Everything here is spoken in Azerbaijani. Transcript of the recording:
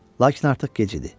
Lakin artıq gec idi.